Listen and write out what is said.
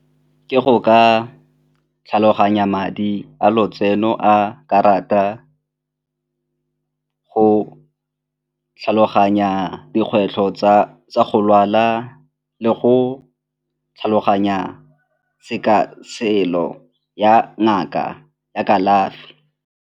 Ke go ka tlhaloganya madi a lotseno a karata, go tlhaloganya dikgwetlho tsa go lwala le go tlhaloganya ya ngaka ya kalafi.